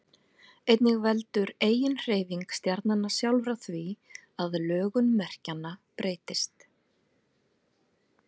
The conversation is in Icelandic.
einnig veldur eiginhreyfing stjarnanna sjálfra því að lögun merkjanna breytist